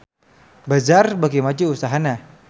Bazaar beuki maju usahana